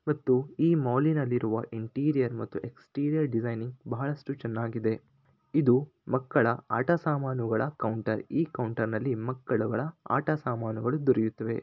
ಮತ್ತು ಈ ಮಾಲಿನಲ್ಲಿರುವ ಇಂಟಿರಿಯರ್ ಮತ್ತೆ ಎಕ್ಸ್ಟ್ರಾರಿಯರ್ ಡಿಸೈನಿಂಗ್ ಬಹಳಷ್ಟು ಚೆನ್ನಾಗಿದೆ ಇದು ಮಕ್ಕಳ ಆಟ ಸಾಮಾನುಗಳ ಈ ಕೌಂಟರಿನಲ್ಲಿ ಮಕ್ಕಳ ಆಟ ಸಾಮಾನುಗಳು ದೊರೆಯುತ್ತವೆ. .